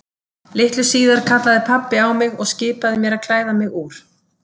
Litlu síðar kallaði pabbi á mig og skipaði mér að klæða mig úr.